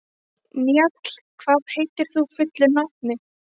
Njáll, hvað heitir þú fullu nafni?